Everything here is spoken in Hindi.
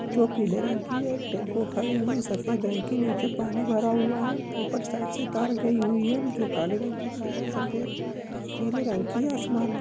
जो पीले रंग की एक टेंपो खड़ी हुई है सफेद रंग के नीचे पानी भरा हुआ है| ऊपर साइड से तार गई हुई है जो काले रंग की तार है सफेद नीले रंग की आसमान है।